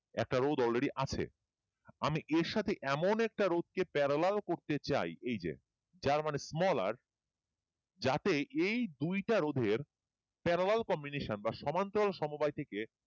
একটা রোধ already আছে আমি এর সাথে এমন একটা রোধ কে parallel করতে চাই এই যে যার মানে small r যাতে এই রোধের parallel combination বা সমান্তরাল সমবায়